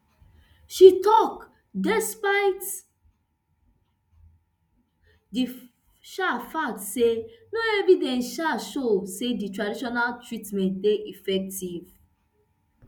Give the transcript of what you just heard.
she tok despite di um fact say no evidence um show say di traditional treatment dey effective